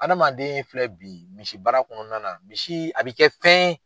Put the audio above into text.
Adamaden filɛ bi misi baara kɔnɔna misi a b'i kɛ fɛn ye.